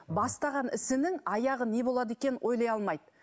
бастаған ісінің аяғы не болады екенін ойлай алмайды